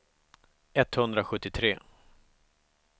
etthundrasjuttiotre